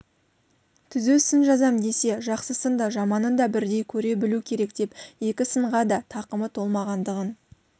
түзу сын жазам десе жақсысын да жаманын да бірдей көре білу керек деп екі сынға да тақымы толмағандығын